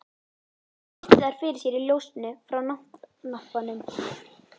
Hann virti þær fyrir sér í ljósinu frá náttlampanum.